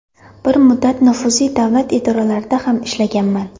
Bir muddat nufuzli davlat idoralarida ham ishlaganman.